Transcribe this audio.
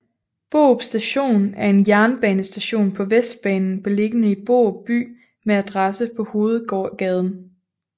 Borup Station er en jernbanestation på Vestbanen beliggende i Borup by med adresse på Hovedgaden